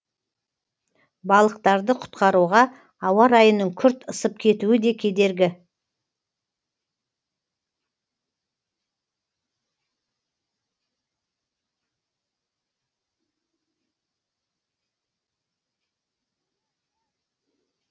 балықтарды құтқаруға ауа райының күрт ысып кетуі де кедергі